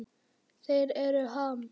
Þeir eru Ham.